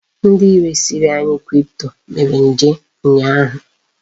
Ndi resiri anyi kripto mere njem ụnyaahụ.